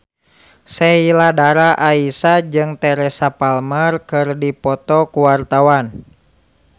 Sheila Dara Aisha jeung Teresa Palmer keur dipoto ku wartawan